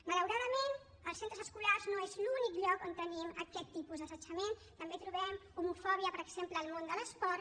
malauradament els centres escolars no són l’únic lloc on tenim aquest tipus d’assetjament també trobem homofòbia per exemple al món de l’esport